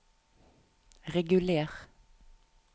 reguler